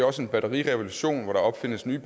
også en batterirevolution hvor der opfindes nye